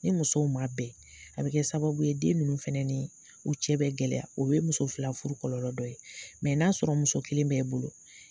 Ni musow man bɛn a bɛ kɛ sababu ye den minnu fɛnɛni u cɛ bɛ gɛlɛya o ye muso fila furu kɔlɔlɔ dɔ ye n'a sɔrɔ muso kelen bɛ i bolo